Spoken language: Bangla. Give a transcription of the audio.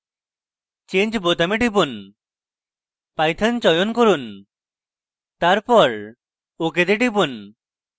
change বোতামে টিপুন python চয়ন করুন তারপর ok তে টিপুন